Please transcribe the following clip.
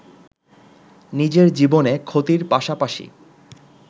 নিজের জীবনে ক্ষতির পাশাপাশি